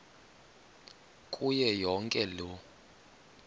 kuyo yonke loo